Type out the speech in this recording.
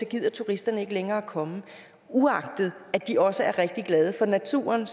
gider turisterne ikke længere komme uagtet at de også er rigtig glade for naturen